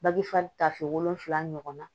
Bagi fa tafe wolonwula ɲɔgɔn na